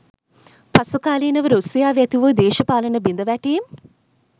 පසුකාලීනව රුසියාවේ ඇතිවූ දේශපාලන බිඳවැටීම්